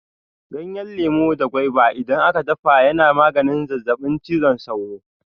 Ganyen lemu da gwaiba idan a ka dafa ya na maganin zazzaɓin cizon sauro.